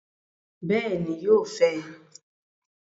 Bẹẹni, yóò fẹ